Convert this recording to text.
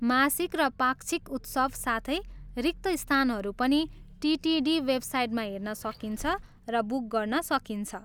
मासिक र पाक्षिक उत्सव साथै रिक्त स्थानहरू पनि टिटिडी वेबसाइटमा हेर्न सकिन्छ र बुक गर्न सकिन्छ।